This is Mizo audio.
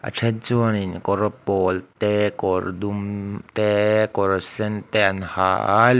a then chuanin kawr pawl te kawr dum te kawr sen te an ha a.